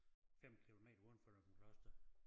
5 kilometer udenfor Løgumkloster